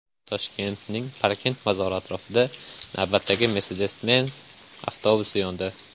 Toshkentning Parkent bozori atrofida navbatdagi Mercedes-Benz avtobusi yondi.